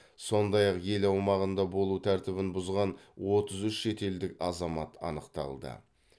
сондай ақ ел аумағында болу тәртібін бұзған отыз үш шетелдік азамат анықталды